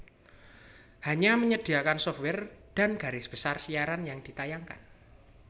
hanya menyediakan software dan garis besar siaran yang ditayangkan